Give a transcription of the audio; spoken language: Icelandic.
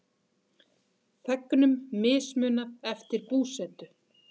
Þegnum mismunað eftir búsetu